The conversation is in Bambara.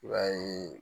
I b'a ye